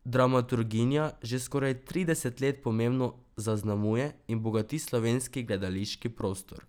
Dramaturginja že skoraj trideset let pomembno zaznamuje in bogati slovenski gledališki prostor.